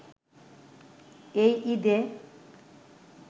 এই ঈদে